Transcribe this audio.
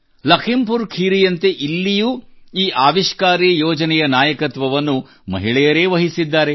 ಲಖೀಂ ಪುರ್ ಖೀರಿಯಂತೆ ಇಲ್ಲಿಯೂ ಈ ಆವಿಷ್ಕಾರಿ ಯೋಜನೆಯ ನಾಯಕತ್ವವನ್ನು ಮಹಿಳೆಯರೇ ವಹಿಸಿದ್ದಾರೆ